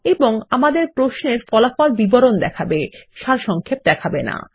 এবং আমাদের প্রশ্ন এর ফলাফল বিবরণ দেখাবে সারসংক্ষেপ দেখাবে না